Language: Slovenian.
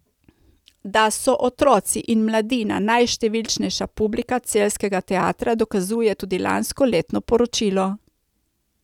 Da so otroci in mladina najštevilčnejša publika celjskega teatra dokazuje tudi lansko letno poročilo.